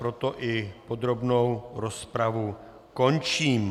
Proto i podrobnou rozpravu končím.